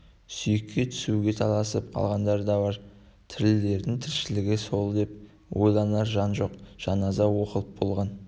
сүйекке түсуге таласып қалғандар да бар тірілердің тіршілігі сол деп ойланар жан жоқ жаназа оқылып болған